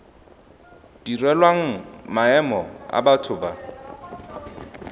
direlwang maemo a batho ba